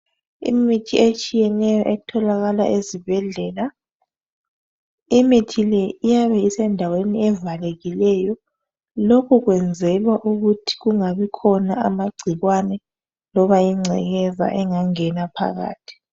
Imithi etshiyeneyo etholakala ezibhedlela. Imithi le iyabe isendaweni ezivalekileyo. Lokhu kwenzelwa ukuthi kungabikhona amagcikwane loba yingcekeza engenaphakathi.